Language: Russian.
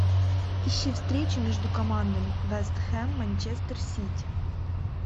ищи встречу между командами вест хэм манчестер сити